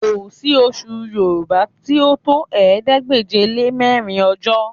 Kò sí oṣù Yorùbá tí ó tó ̀ẹẹ́dégbèje-lé-mẹ́rin ọjọ́